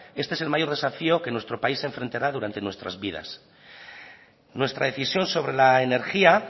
este es el mayor desafío que nuestro país enfrentará durante nuestras vidas nuestra decisión sobre la energía